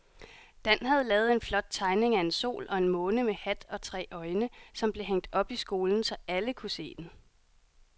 Dan havde lavet en flot tegning af en sol og en måne med hat og tre øjne, som blev hængt op i skolen, så alle kunne se den.